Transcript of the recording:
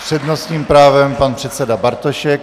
S přednostním právem pan předseda Bartošek.